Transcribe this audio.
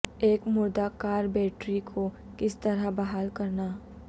ایک مردہ car battery کو کس طرح بحال کرنا